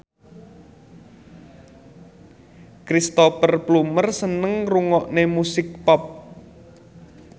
Cristhoper Plumer seneng ngrungokne musik pop